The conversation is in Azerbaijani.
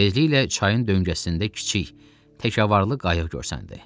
Tezliklə çayın döngəsində kiçik təkarvarlı qayıq görsəndi.